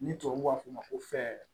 Ni tubabuw b'a f'o ma ko